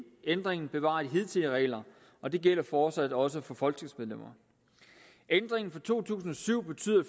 ændringen bevarer de hidtidige regler og det gælder fortsat også for folketingsmedlemmer ændringen fra to tusind og syv betyder